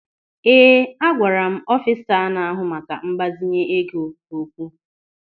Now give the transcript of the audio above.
Ee, agwara m ọfisa na-ahụ maka mgbazinye ego okwu.